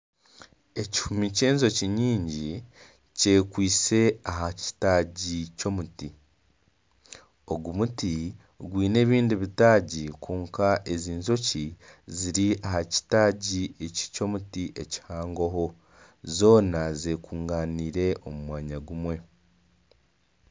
Ekihumi ky'enjoki nyingi kyekwitse aha kitaagi ky'emiti ogu muti gwine ebindi bitaagi kwonka ezi njoki ziri aha kitaagi eky'omuti ekihangoho zoona z'ekunganiire omu mwanya gumwe